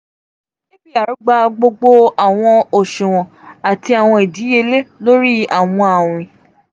apr gba gbogbo awọn um oṣuwọn ati awọn idiyele lori awọn awin.